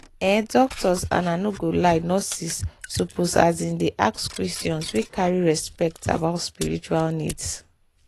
ehh doctors and i no go lie nurses suppose asin dey ask questions wey carry respect about spiritual needs.